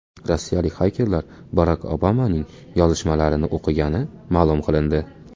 Rossiyalik xakerlar Barak Obamaning yozishmalarini o‘qigani ma’lum qilindi.